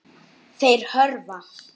Þeir hörfa.